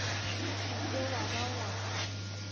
se ke wa ba wa